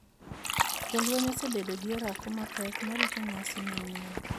Jolwenye osebedo gi orako mapek marito nyasi manyien